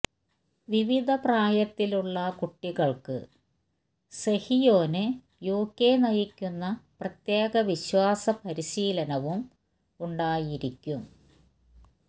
വിവിധ പ്രായത്തിലുള്ള കുട്ടികള്ക്ക് സെഹിയോന് യുകെ നയിക്കുന്ന പ്രത്യേക വിശ്വാസ പരിശീലനവും ഉണ്ടായിരിക്കും